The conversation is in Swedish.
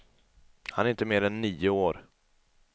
Han är inte mer än nio år.